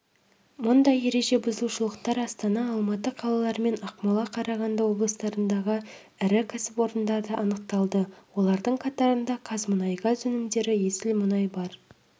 мұндай ереже бұзушылықтар астана алматы қалары мен ақмола қарағанды облыстарындағы ірі кәсіпорындарда анықталды олардың қатарында қазмұнайгаз өнімдері есіл мұнай бар